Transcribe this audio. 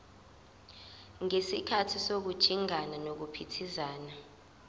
ngesikhathi sokujingana nokuphithiza